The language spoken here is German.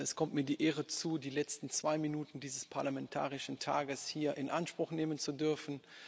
Es kommt mir die Ehre zu, die letzten zwei Minuten dieses parlamentarischen Tages hier in Anspruch nehmen zu dürfen.